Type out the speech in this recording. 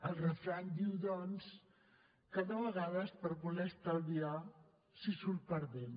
el refrany diu doncs que de vegades per voler estalviar s’hi surt perdent